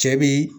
Cɛ bi